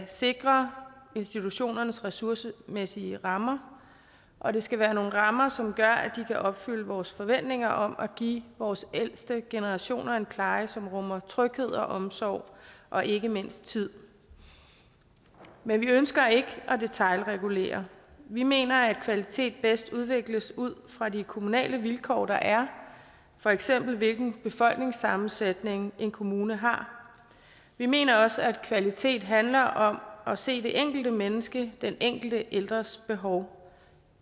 sikre institutionernes ressourcemæssige rammer og det skal være nogle rammer som gør at de kan opfylde vores forventninger om at give vores ældste generationer en pleje som rummer tryghed og omsorg og ikke mindst tid men vi ønsker ikke at detailregulere vi mener at kvalitet bedst udvikles ud fra de kommunale vilkår der er for eksempel hvilken befolkningssammensætning en kommune har vi mener også at kvalitet handler om at se det enkelte menneskes den enkelte ældres behov